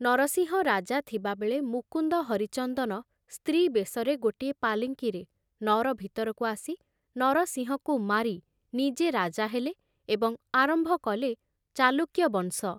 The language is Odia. ନରସିଂହ ରାଜା ଥିବାବେଳେ ମୁକୁନ୍ଦ ହରିଚନ୍ଦନ ସ୍ତ୍ରୀ ବେଶରେ ଗୋଟିଏ ପାଲିଙ୍କିରେ ନଅର ଭିତରକୁ ଆସି ନରସିଂହଙ୍କୁ ମାରି ନିଜେ ରାଜା ହେଲେ ଏବଂ ଆରମ୍ଭ କଲେ ଚାଲୁକ୍ୟ ବଂଶ!